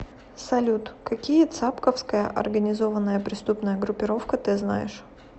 салют какие цапковская организованная преступная группировка ты знаешь